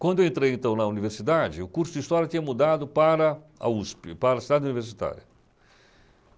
Quando eu entrei, então, na universidade, o curso de História tinha mudado para a USP, para a Cidade Universitária.